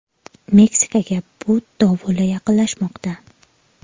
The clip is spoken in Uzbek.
Meksikaga Bud dovuli yaqinlashmoqda.